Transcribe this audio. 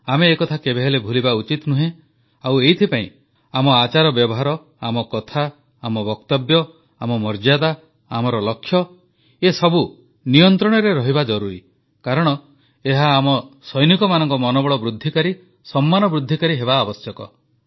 ଆମେ ଏକଥା କେବେହେଲେ ଭୁଲିବା ଉଚିତ ନୁହେଁ ଆଉ ଏଥିପାଇଁ ଆମ ଆଚାରବ୍ୟବହାର ଆମ କଥା ଆମ ବକ୍ତବ୍ୟ ଆମ ମର୍ଯ୍ୟାଦା ଆମର ଲକ୍ଷ୍ୟ ଏସବୁ ନିୟନ୍ତ୍ରଣରେ ରହିବା ଜରୁରୀ କାରଣ ଏହା ଆମ ସୈନିକମାନଙ୍କ ମନୋବଳ ବୃଦ୍ଧିକାରୀ ସମ୍ମାନ ବୃଦ୍ଧିକାରୀ ହେବା ଆବଶ୍ୟକ